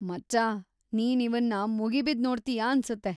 ಮಚ್ಚಾ, ನೀನ್‌ ಇವನ್ನ ಮುಗಿಬಿದ್‌ ನೋಡ್ತೀಯಾ ಅನ್ಸುತ್ತೆ.